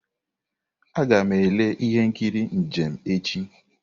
Aga m ele ihe nkiri njem echi.